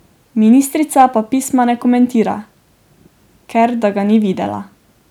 Ministrica pa pisma ne komentira, ker da ga ni videla.